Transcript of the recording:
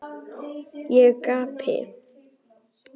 Ég gapi.